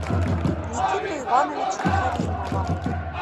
никиту ивановича каримова